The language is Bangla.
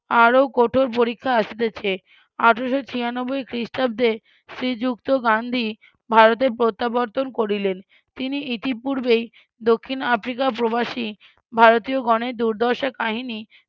আরও কঠোর পরীক্ষা আসতেছে আঠেরোশো ছিয়ানব্বই খ্রিস্টাব্দে শ্রীযুক্ত গান্ধী ভারতে প্রত্যাবর্তন করিলেন তিনি ইতিপূর্বেই দক্ষিণ আফ্রিকা প্রবাসী ভারতীয়গণের দুর্দশার কাহিনী